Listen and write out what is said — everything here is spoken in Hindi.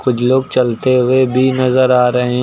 लोग चलते हुए भी नजर आ रहे हैं।